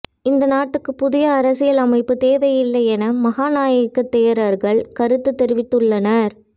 இந்த நாட்டுக்குப் புதிய அரசியல் அமைப்புத் தேவையில்லை என மகாநாயக்க தேரர்கள் கருத்துத் தெரிவித்துள்ளனர்